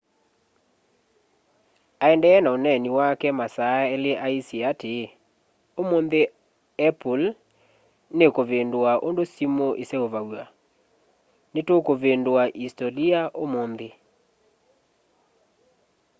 aendee na ũneeni wake wa masaa eli aisye atii ũmunthi apple nikuvindua undu simu iseuvaw'a nitukuvindua isitolia umunthi